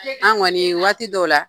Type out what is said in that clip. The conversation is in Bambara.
An gɔni waati dɔw la